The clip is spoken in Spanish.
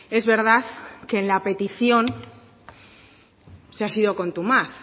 es verdad que en la petición se ha sido contumaz